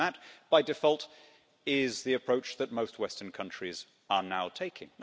And that, by default, is the approach that most western countries are now taking.